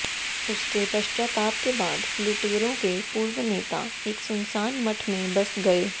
उसके पश्चाताप के बाद लुटेरों के पूर्व नेता एक सुनसान मठ में बस गए